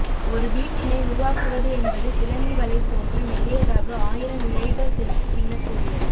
ஒரு வீட்டினை உருவாக்குவது என்பது சிலந்தி வலை போன்று மெல்லியதாக ஆயிரம் இழைகள் சேர்த்து பின்னக் கூடியது